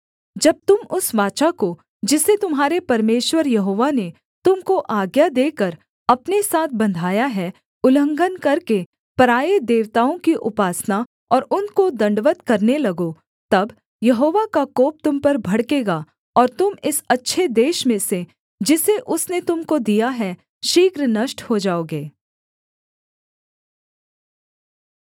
जब तुम उस वाचा को जिसे तुम्हारे परमेश्वर यहोवा ने तुम को आज्ञा देकर अपने साथ बन्धाया है उल्लंघन करके पराए देवताओं की उपासना और उनको दण्डवत् करने लगो तब यहोवा का कोप तुम पर भड़केगा और तुम इस अच्छे देश में से जिसे उसने तुम को दिया है शीघ्र नष्ट हो जाओगे